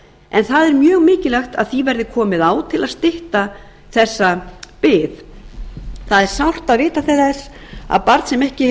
en það er mjög mikilvægt að því verði komið á til að stytta þessa bið það er sárt að vita til þess að barn sem ekki